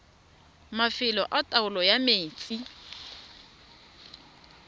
mafelo a taolo ya metsi